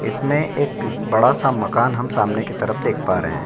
इसमें एक बड़ा सा मकान हम सामने की तरफ देख रहे हैं।